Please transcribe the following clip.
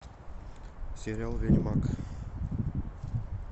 сериал ведьмак